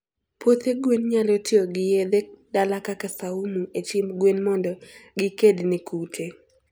puothe gwen nyalo tiyogi yedhe dala kaka saumu e chiemb gwen mondo gikedne kute